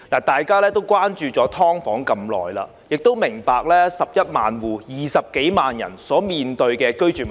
大家關注"劏房"問題已久，亦明白11萬"劏房戶"共20多萬人所面對的居住問題。